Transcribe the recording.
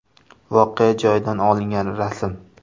Voqea joyidan olingan rasm.